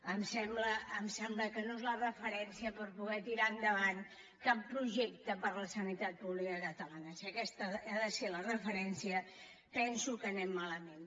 em sembla que no és la referència per poder tirar en·davant cap projecte per a la sanitat pública catalana si aquesta ha de ser la referència penso que anem ma·lament